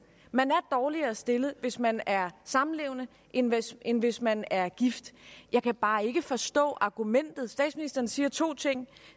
man er dårligere stillet hvis man er samlevende end hvis end hvis man er gift jeg kan bare ikke forstå argumentet statsministeren siger to ting